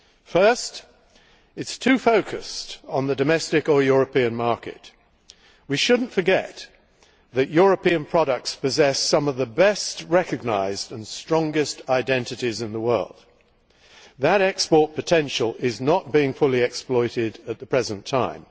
First, it is too focused on the domestic or European market. We should not forget that European products possess some of the best recognised and strongest identities in the world, but that export potential is not being fully exploited at the present time.